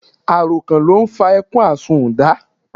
Àròkàn ló n fa ẹkún àsunnda